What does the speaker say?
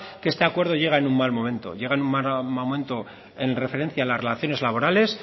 que este acuerdo llega en un mal momento llega en un mal momento en referencia a las relaciones laborales